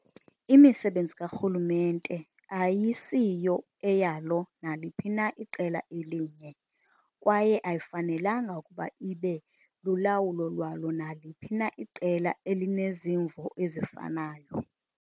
Imisebenzi karhulumente ayisiyo eyalo naliphi na iqela elinye, kwaye ayifanelanga ukuba ibe lulawulo lwalo naliphi na iqela elinezimvo ezifanayo.